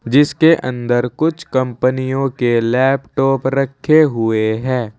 जिसके अंदर कुछ कंपनियों के लैपटॉप रखे हुए हैं।